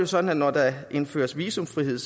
sådan at når der indføres visumfrihed